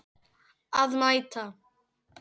Að mæta.